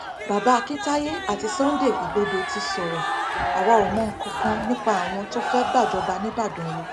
bàbá akintaye àti sunday igbodò ti sọrọ àwa ò mọ nǹkan kan nípa àwọn tó fẹẹ gbàjọba nígbàdàn o